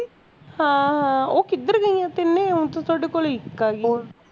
ਹਾਂ ਹਾਂ ਓਹ ਕਿੱਧਰ ਗਈਆਂ ਤਿੰਨੋ ਤੇ ਤੁਹਾਡੇ ਕੋਲ ਇੱਕ ਆਈ ਲੋ